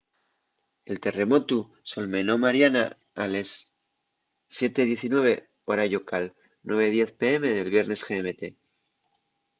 el terremotu solmenó mariana a les 07:19 hora llocal 09:10 p.m. del viernes gmt